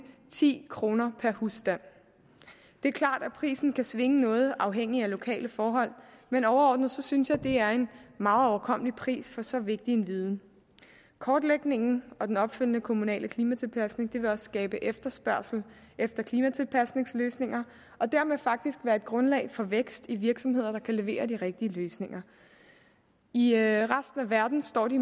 ti kroner per husstand det er klart at prisen kan svinge noget afhængig af lokale forhold men overordnet synes jeg det er en meget overkommelig pris for så vigtig en viden kortlægningen og den opfølgende kommunale klimatilpasning vil også skabe efterspørgsel efter klimatilpasningsløsninger og dermed faktisk være et grundlag for vækst i virksomheder der kan levere de rigtige løsninger i resten af verden står de